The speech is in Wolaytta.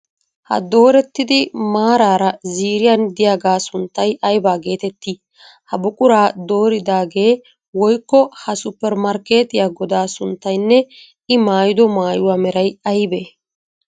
Ha doorettidi maaraara ziiriyan diyagaa sunttay ayiba geetettii? Ha buquraa dooridaage woyikko ha suppermarkkeetiya godaa sunttaynne I mayyido mayyuwaa meray ayibee?